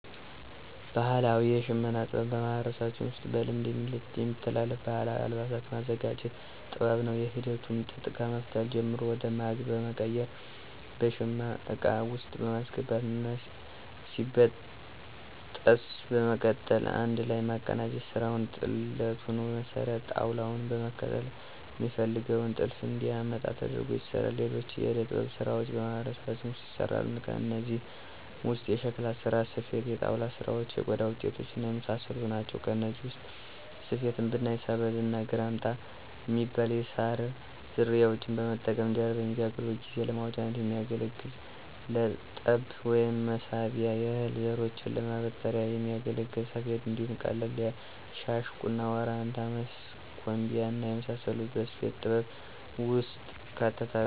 ባህላዊ የሽመና ጥበብ በማህበረሰባችን ውስጥ በልማድ የሚተላለፍ ባህላዊ አልባሳትን የማዘጋጀት ጥበብ ነው። ሂደቱም ጥጥ ከመፍተል ጀምሮ ወደ ማግ በመቀየር በሸማ እቃ ውስጥ በማስገባት እና ሲበጠስ በመቀጠል አንድ ላይ የማቀናጀት ስራ ነዉ። ጥለቱንም መስሪያ ጣውላዉን በመከተል ሚፈለገውን ጥልፍ እንዲያመጣ ተደርጎ ይሰራል። ሌሎችም የእደ-ጥበብ ስራዎች በማህበረሰባችን ውስጥ ይሰራሉ። ከእነዚህም ውስጥ የሸክላ ስራ፣ ስፌት፣ የጣውላ ስራዎች፣ የቆዳ ውጤቶች እና የመሳሰሉት ናቸው። ከነዚህ ውስጥ ስፌትን ብናይ ሰበዝ እና ግራምጣ ሚባሉ የሳር ዝርያዎችን በመጠቀም እንጀራ በሚጋገርበት ጊዜ ለማውጫነት የሚያገለግል ለጠብ ወይም መሳቢያ፣ የእህል ዘሮችን ለማበጠሪያነት ሚያገለግል ሰፌድ እንዲሁም ቀለም- ሻሽ፣ ቁና፣ ወራንታ፣ ወስከንቢያ እና የመሳሰሉት ከስፌት ጥበብ ውስጥ ይካተታሉ።